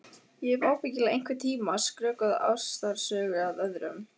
Ég hef ábyggilega einhvern tíma skrökvað ástarsögu að öðrum.